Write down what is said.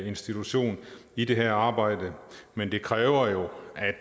institution i det her arbejde men det kræver jo